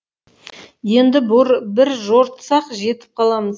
енді бір жортсақ жетіп қаламыз